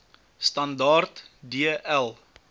standaard d l